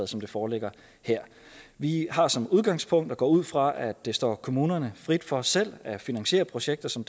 som det foreligger her vi har som udgangspunkt og går ud fra at det står kommunerne frit for selv at finansiere projekter som